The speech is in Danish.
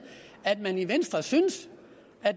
at man i venstre synes